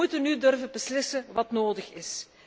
Wij moeten nu durven beslissen wat nodig is.